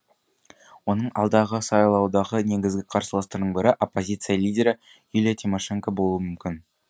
оның алдағы сайлаудағы негізгі қарсыластарының бірі оппозиция лидері юлия тимошенко болуы мүмкін